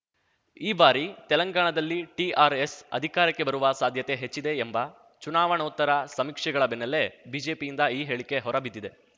ಈ ಬಾರಿ ತೆಲಂಗಾಣದಲ್ಲಿ ಟಿಆರ್‌ಎಸ್‌ ಅಧಿಕಾರಕ್ಕೆ ಬರುವ ಸಾಧ್ಯತೆ ಹೆಚ್ಚಿದೆ ಎಂಬ ಚುನಾವಣೋತ್ತರ ಸಮೀಕ್ಷೆಗಳ ಬೆನ್ನಲ್ಲೇ ಬಿಜೆಪಿಯಿಂದ ಈ ಹೇಳಿಕೆ ಹೊರಬಿದ್ದಿದೆ